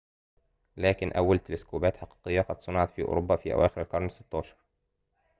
لكن أول تلسكوبات حقيقية قد صُنعت في أوروبا في أواخر القرن ال16